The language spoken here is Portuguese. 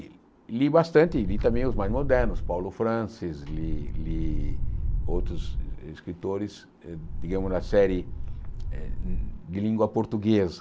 E li bastante, li também os mais modernos, Paulo Francis, li li outros escritores, eh digamos, da série eh de língua portuguesa.